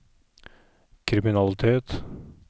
kriminalitet